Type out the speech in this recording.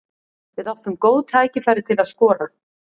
Við áttum góð tækifæri til að skora.